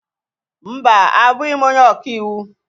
Mba, abụghị m onye ọka iwu.